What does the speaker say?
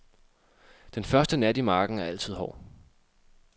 Den første nat i marken er altid hård.